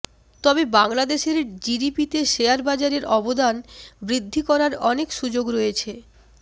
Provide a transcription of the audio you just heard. তবে বাংলাদেশের জিডিপিতে শেয়ার বাজারের অবদান বৃদ্ধি করার অনেক সুযোগ রয়েছে